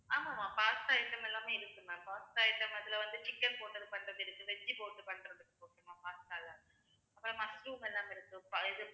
ஆமா ma'am pasta item எல்லாமே இருக்குது ma'am pasta item அதுல வந்து chicken போட்டு பண்றது இருக்கு இஞ்சி போட்டு பண்றது இருக்கு ma'am pasta ல அப்புறம் mushroom எல்லாமே இருக்கு